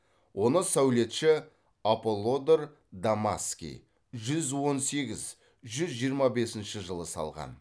оны сәулетші аполлодор дамасский жүз он сегіз жүз жиырма бесінші жылы салған